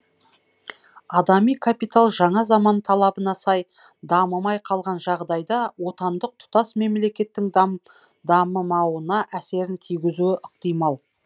адами капитал жаңа заман талабына сай дамымай қалған жағдайда отандық тұтас мемлкеттің дамымауына әсерін тигізуі ықтимал